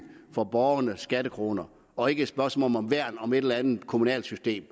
for borgernes skattekroner og ikke et spørgsmål om at værne om et eller andet kommunalt system